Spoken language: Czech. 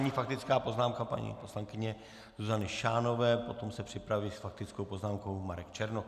Nyní faktická poznámka paní poslankyně Zuzany Šánové, potom se připraví s faktickou poznámkou Marek Černoch.